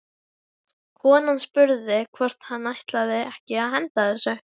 Konan spurði hvort hann ætlaði ekki að henda þessu.